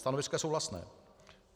Stanovisko je souhlasné.